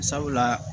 Sabula